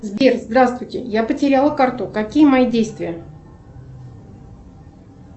сбер сдравствуйте я потеряла карту какие мои действия